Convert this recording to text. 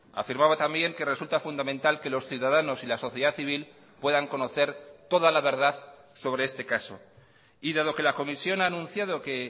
afirmaba también que resulta fundamental que los ciudadanos y la sociedad civil puedan conocer toda la verdad sobre este caso y dado que la comisión ha anunciado que